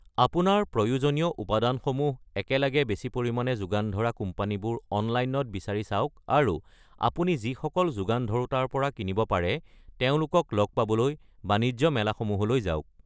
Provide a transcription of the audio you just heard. আপোনাৰ প্ৰয়োজনীয় উপাদানসমূহ একেলগে বেছি পৰিমাণে যোগান ধৰা কোম্পানীবোৰ অনলাইনত বিচাৰি চাওক আৰু আৰু আপুনি যিসকল যোগান ধৰোঁতাৰ পৰা কিনিব পাৰে তেওঁলোকক লগ পাবলৈ বাণিজ্য মেলাসমূহলৈ যাওক।